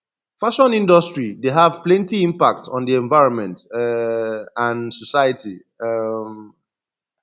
fashion industry dey have plenty impact on di envionment um and society um